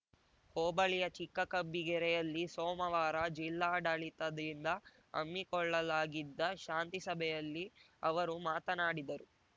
ಹೋಬಳಿಯ ಚಿಕ್ಕಕಬ್ಬಿಗೆರೆಯಲ್ಲಿ ಸೋಮವಾರ ಜಿಲ್ಲಾಡಳಿತದಿಂದ ಹಮ್ಮಿಕೊಳ್ಳಲಾಗಿದ್ದ ಶಾಂತಿ ಸಭೆಯಲ್ಲಿ ಅವರು ಮಾತನಾಡಿದರು